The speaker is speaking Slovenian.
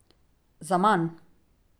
Zaman!